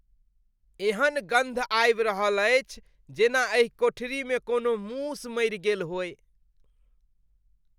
एहन गन्ध आबि रहल अछि जेना एहि कोठरीमे कोनो मूस मरि गेल होय।